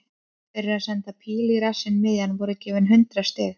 Fyrir að senda pílu í rassinn miðjan voru gefin hundrað stig.